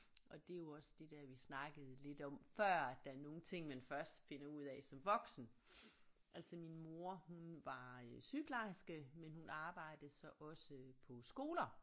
Og det er jo også det der vi snakkede lidt om før at der er nogle ting man først finder ud af som voksen altså min mor hun var øh sygeplejerske men hun arbejdede så også på skoler